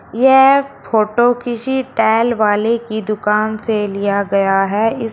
यह फोटो किसी टैल वाले की दुकान से लिया गया है इस--